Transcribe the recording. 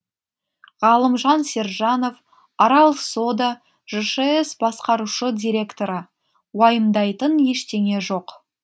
ғалымжан сержанов арал сода жшс басқарушы директоры уайымдайтын ештеңе жоқ